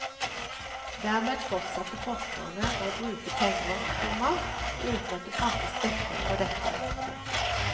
Dermed fortsatte forskerne å bruke penger, komma uten at det fantes dekning for dette. punktum